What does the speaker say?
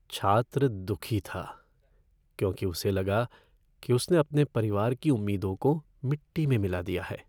छात्र दुखी था क्योंकि उसे लगा कि उसने अपने परिवार की उम्मीदों को मिट्टी में मिला दिया है।